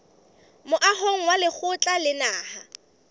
moahong wa lekgotla la naha